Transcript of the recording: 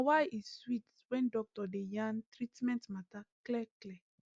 na wa e sweet when doctor dey yarn treatment matter clear clear